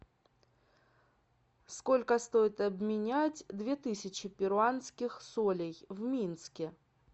сколько стоит обменять две тысячи перуанских солей в минске